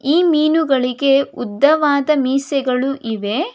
ಈ ಮೀನುಗಳಿಗೆ ಉದ್ದವಾದ ಮೀಸೆಗಳು ಇವೆ.